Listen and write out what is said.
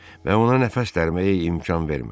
Və ona nəfəs dərməyə imkan vermədi.